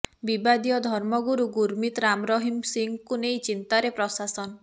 ବିବାଦୀୟ ଧର୍ମଗୁରୁ ଗୁରୁମିତ୍ ରାମ ରହିମ ସିଂଙ୍କୁ ନେଇ ଚିନ୍ତାରେ ପ୍ରଶାସନ